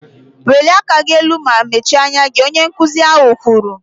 Welie aka gị elu ma mechie anya gị! Onye nkụzi ahụ kwuru